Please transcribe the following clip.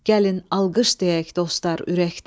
Gəlin alqış deyək dostlar ürəkdən.